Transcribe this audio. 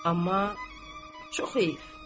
Amma çox eyf.